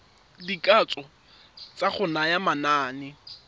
dikatso tsa go naya manane